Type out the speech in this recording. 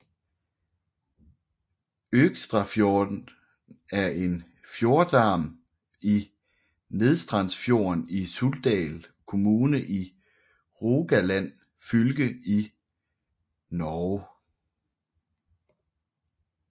Økstrafjorden er en fjordarm af Nedstrandsfjorden i Suldal kommune i Rogaland fylke i Norge